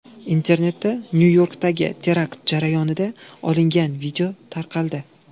Internetda Nyu-Yorkdagi terakt joyida olingan video tarqaldi .